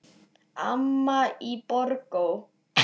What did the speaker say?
Amma í Borgó.